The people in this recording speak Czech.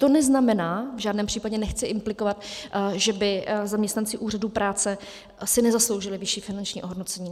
To neznamená, v žádném případě nechci implikovat, že by zaměstnanci úřadů práce si nezasloužili vyšší finanční ohodnocení.